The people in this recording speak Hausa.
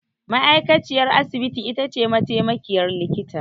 Ma'aikaciyar asibiti itace mataimakiyar likita.